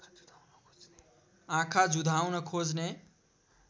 आँखा जुधाउन खोज्ने